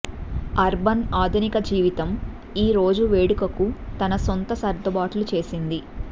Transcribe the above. urban ఆధునిక జీవితం ఈ రోజు వేడుకకు తన సొంత సర్దుబాట్లు చేసింది